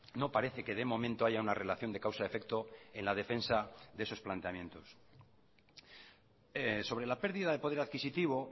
no parece que de momento haya una relación de causa efecto en la defensa de esos planteamientos sobre la pérdida de poder adquisitivo